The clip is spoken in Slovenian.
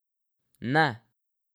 Ne!